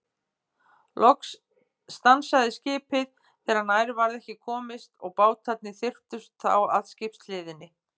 Loks stansaði skipið þegar nær varð ekki komist og bátarnir þyrptust þá að skipshliðinni.